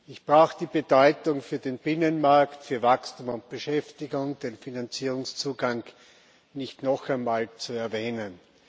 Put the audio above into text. Ich brauche die Bedeutung für den Binnenmarkt, für Wachstum und Beschäftigung, den Finanzierungszugang nicht noch einmal zu erwähnen.